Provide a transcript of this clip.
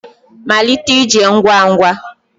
Malite ije ngwa ngwa